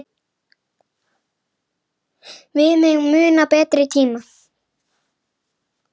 Við megum muna betri tíma.